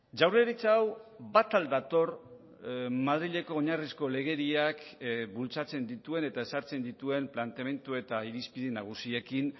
jaurlaritza hau bat al dator madrileko oinarrizko legediak bultzatzen dituen eta ezartzen dituen planteamendu eta irizpide nagusiekin